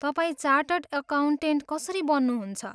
तपाईँ chartered accountant कसरी बन्नुहुन्छ?